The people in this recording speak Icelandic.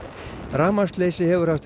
rafmagnsleysi hefur haft